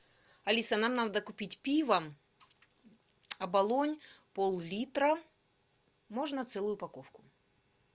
алиса нам надо купить пиво оболонь пол литра можно целую упаковку